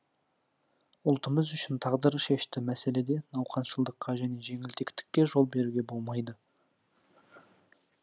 ұлтымыз үшін тағдыршешті мәселеде науқаншылдыққа және жеңілтектікке жол беруге болмайды